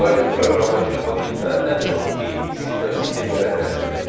Python proqramlaşdırma dilinə ən çox ABC və C dilləri təsir etdi.